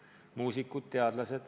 Ma mõtlen muusikuid ja teadlasi.